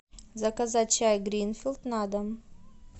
заказать чай гринфилд на дом